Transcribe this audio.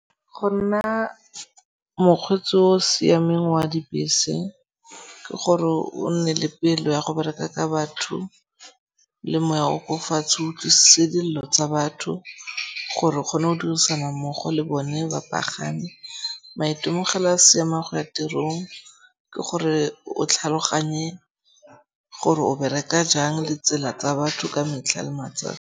Go nna mokgweetsi o o siameng wa dibese ke gore o nne le pelo ya go bereka ka batho le moya o ko fatshe. O utlwisise dillo tsa batho gore o kgone go dirisana mmogo le bone bapagami. Maitemogelo a seemo go ya tirong ke gore o tlhaloganye gore o bereka jang le tsela tsa batho ka metlha le matsatsi.